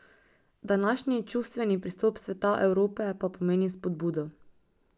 Današnji čustveni pristop Sveta Evrope pa pomeni spodbudo.